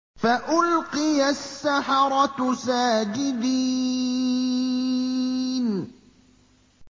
فَأُلْقِيَ السَّحَرَةُ سَاجِدِينَ